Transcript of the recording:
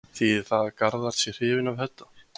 Þýðir það að Garðar sé hrifinn af Hödda?